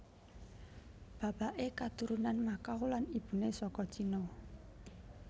Bapaké katurunan Macau lan ibuné saka Cina